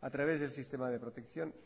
a través del sistema de protección